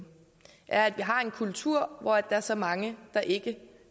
er at vi har en kultur hvor der er så mange der ikke